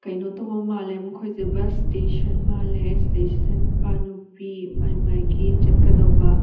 ꯀꯩꯅꯣ ꯇꯧꯕ ꯃꯥꯜꯂꯦ ꯃꯈꯣꯏꯁꯦ ꯕ꯭ꯁ ꯁ꯭ꯇꯦꯁꯟ ꯃꯥꯜꯂꯦ ꯁꯤꯗꯩꯁꯤꯗ ꯅꯨꯄꯥ ꯅꯨꯄꯤ ꯃꯥꯏ ꯃꯥꯏꯒꯤ ꯆꯠꯀꯗꯧꯕ --